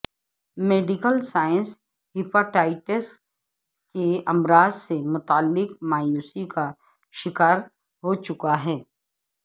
medical science hepatitis کے امراض سے متعلق مایوسی کا شکار ہوچکی ہے